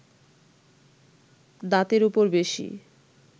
দাঁতের ওপর বেশি